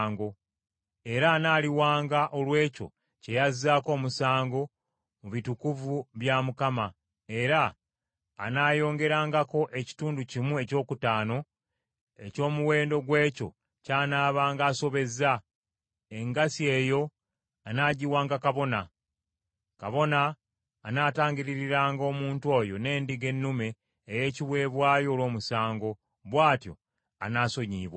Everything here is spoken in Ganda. Era anaaliwanga olw’ekyo kye yazzaako omusango mu bitukuvu bya Mukama, era anaayongerangako ekitundu kimu ekyokutaano eky’omuwendo gw’ekyo ky’anabanga asobezza; engassi eyo anaagiwanga kabona. Kabona anaatangiririranga omuntu oyo n’endiga ennume ey’ekiweebwayo olw’omusango, bw’atyo anaasonyiyibwanga.